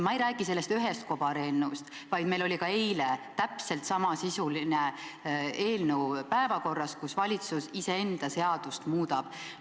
Ma ei räägi sellest ühest kobareelnõust, vaid meil oli ka eile täpselt samasisuline eelnõu päevakorras, kus valitsus iseenda seadust muudab.